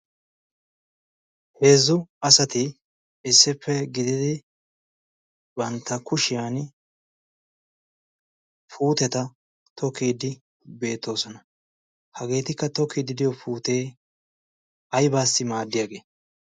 heezzu asati issippe gididi bantta kushiyan puuteta tookiidi beettoosona hageetikka tookiiddi diyo puutee aibaassi maaddiyaagee?